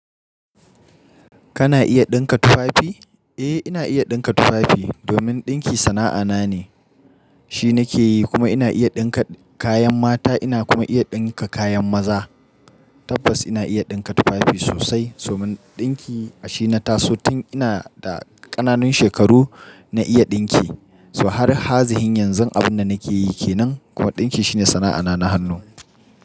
Kana iya ɗinka tufafi? Eh, ina iya ɗinka tufafi domin ɗinki sana'a na ne. Shi nake yi kuma ina iya ɗinka kayan mata ina kuma iya ɗinka kayan maza. Tabbas ina iya ɗinka tufafi sosai somin ɗinki shine taso tun ina da ƙananan shekaru na iya ɗinki. So har hazihin yanzu abun da nake yi kenan kuma ɗinki shine sana'a na na hannu.